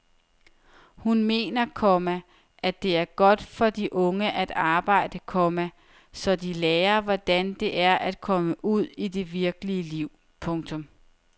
Hun mener, komma det er godt for de unge at arbejde, komma så de lærer hvordan det er at komme ud i det virkelige liv. punktum